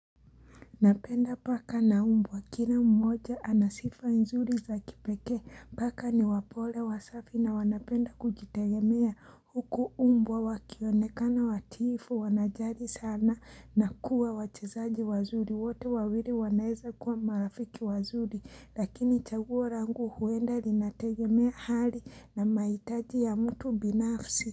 Napenda paka na mbwa kila mmoja anasifa nzuri za kipekee paka ni wapole wasafi na wanapenda kujitegemea huku mbwa wakionekana watiifu wanajali sana na kuwa wachezaji wazuri wote wawili wanaeza kuwa marafiki wazuri lakini chaguo langu huenda linategemea hali na mahitaji ya mtu binafsi.